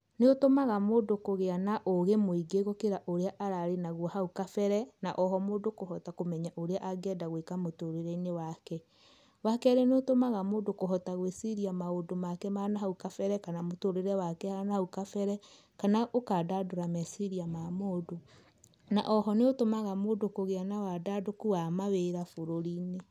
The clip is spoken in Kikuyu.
Nĩ ũtũmaga mũndũ kũgĩa na ũgĩ mũingĩ gũkĩra ũrĩa ararĩ naguo hau kabere, na oho mũndũ kũhota kũmenya ũrĩa angĩenda gũĩka mũtũrĩre-inĩ wake. Wakerĩ nĩ ũtũmaga mũndũ kũhota gũĩciria maũndũ make ma na hau kabere kana mũtũrĩre wake wa na hau kabere, kana ũkandandũra meciria ma mũndũ. Na oho nĩ ũtũmaga mũndũ kũgĩa na wandandũku wa mawĩra bũrũrĩ-inĩ.